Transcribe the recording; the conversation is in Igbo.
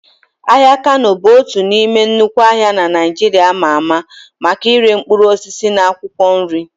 Ahịa Kano bụ otu n'ime nnukwu ahịa na Naịjirịa ama ama maka ire mkpụrụ osisi na akwụkwọ nri.